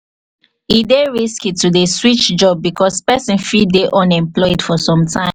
e dey risky to dey switch job because person fit dey unemployed for some time